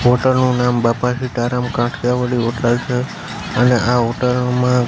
hotel નું નામ Bapa Sitaram Kathiyawadi hotel છે અને આ હોટલ માં--